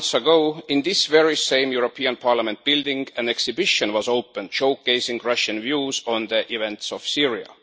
Some months ago, in this very same European Parliament building an exhibition was opened showcasing Russian views on the events in Syria.